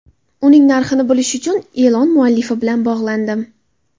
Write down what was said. Uning narxini bilish uchun e’lon muallifi bilan bog‘landim.